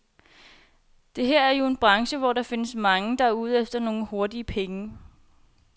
Det her er jo en branche, hvor der findes mange, der er ude efter nogle hurtige penge.